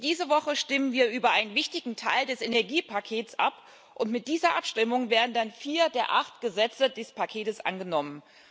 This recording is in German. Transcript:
Diese Woche stimmen wir über einen wichtigen Teil des Energiepakets ab. Mit dieser Abstimmung wären dann vier der acht Gesetze des Paketes angenommen.